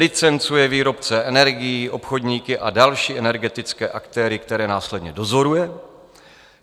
Licencuje výrobce energií, obchodníky a další energetické aktéry, které následně dozoruje.